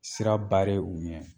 Sira u ɲɛ